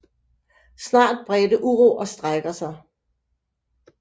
Snart bredte uro og strejker sig